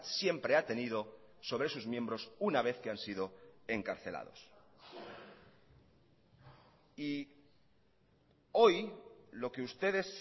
siempre ha tenido sobre sus miembros una vez que han sido encarcelados y hoy lo que ustedes